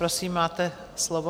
Prosím, máte slovo.